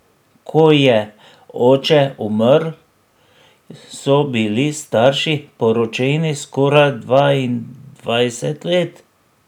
Ko je oče umrl, so bili starši poročeni skoraj dvaindvajset let.